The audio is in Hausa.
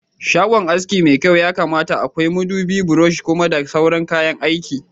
Shagon aski mai kyau yakamata akwai madubi, brosh, kum da sauran kayan aiki